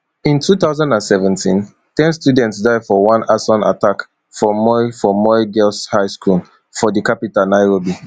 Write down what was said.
in two thousand and seventeen ten students die for one arson attack for moi for moi girls high school for di capital nairobi